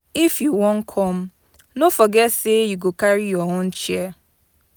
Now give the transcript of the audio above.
If you wan come, no forget sey you go carry your own chair.